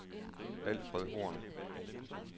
Alfred Horn